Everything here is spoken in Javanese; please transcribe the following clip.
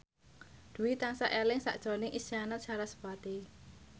Dwi tansah eling sakjroning Isyana Sarasvati